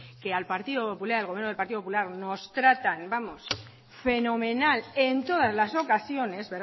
que al partido popular que al gobierno del partido popular nos tratan vamos fenomenal en todas las ocasiones